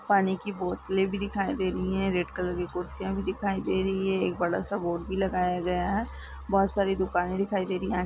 पानी की बोतले भी दिखाई दे रही हैं रेड कलर की कुर्सियां भी दिखाई दे रही हैं एक बड़ा-सा बोर्ड भी लगाया गया हैं बोहत सारी दुकाने दिखाई दे रही हैं।